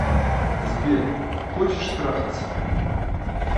сбер хочешь трахаться